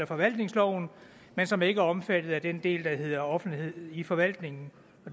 forvaltningsloven men som ikke er omfattet af den del der hedder offentlighed i forvaltningen